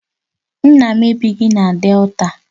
Nna m ebighị na Delta